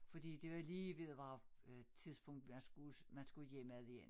Fordi det var lige ved at være øh tidspunkt man skulle man skulle hjemad igen